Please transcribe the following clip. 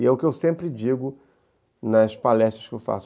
E é o que eu sempre digo nas palestras que eu faço.